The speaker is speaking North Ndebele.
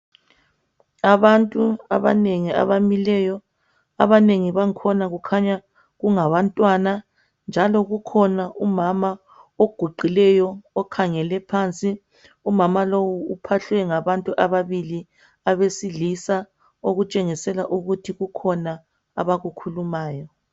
Abantu abanengi abamileyo, abanengi bangkhona kukhanya kungabantwana njalo kukhona umama oguqileyo okhangele phansi. Umama lowo uphahlwe ngabantu ababili abesilisa, okutshengisela ukuthi kukhona abakukhulumayo.